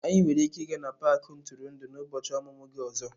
Anyị nwere ike ịga n'paaki ntụrụndụ n'ụbọchị ọmụmụ gị ọzọ.